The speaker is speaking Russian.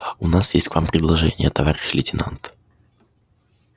у нас есть к вам предложение товарищ лейтенант